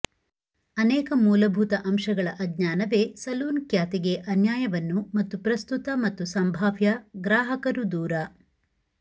ಅನೇಕ ಮೂಲಭೂತ ಅಂಶಗಳ ಅಜ್ಞಾನವೇ ಸಲೂನ್ ಖ್ಯಾತಿಗೆ ಅನ್ಯಾಯವನ್ನು ಮತ್ತು ಪ್ರಸ್ತುತ ಮತ್ತು ಸಂಭಾವ್ಯ ಗ್ರಾಹಕರು ದೂರ